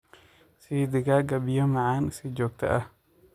Sii digaagga biyo macaan si joogto ah.